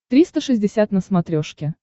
триста шестьдесят на смотрешке